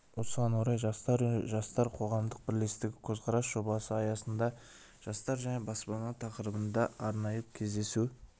осыған орай жастар үні жастар қоғамдық бірлестігі көзқарас жобасы аясында жастар және баспана тақырыбында арнайы кездесу